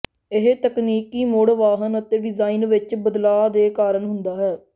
ਇਹ ਤਕਨੀਕੀ ਮੁੜ ਵਾਹਨ ਅਤੇ ਡਿਜ਼ਾਇਨ ਵਿੱਚ ਬਦਲਾਅ ਦੇ ਕਾਰਨ ਹੁੰਦਾ ਹੈ